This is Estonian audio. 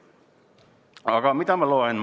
Aga mida ma loen?